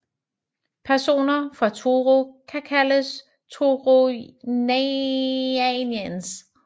Personer fra Truro kan kaldes Truronians